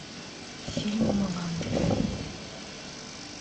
фильм мулан